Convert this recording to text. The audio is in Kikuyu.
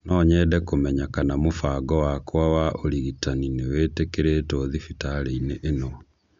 No nyende kũmenya kana mũbango wakwa wa ũrigitani nĩ wĩtĩkĩrĩtwo thibitarĩinĩ ĩno